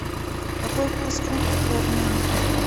какой курс фунта при обмене